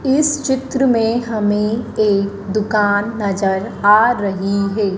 इस चित्र में हमें एक दुकान नजर आ रही है।